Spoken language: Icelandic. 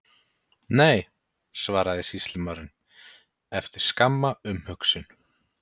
Nei, svaraði sýslumaðurinn, eftir skamma umhugsun.